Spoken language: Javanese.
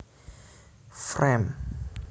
Frame